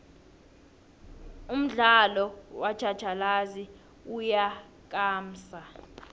umdialo wotjhatjhalazi uyakamsa